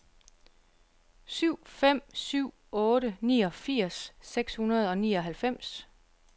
syv fem syv otte niogfirs seks hundrede og nioghalvfems